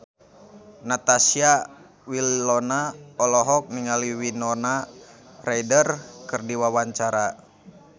Natasha Wilona olohok ningali Winona Ryder keur diwawancara